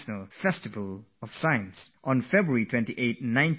On 28th February 1928, Sir C